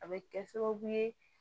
A bɛ kɛ sababu ye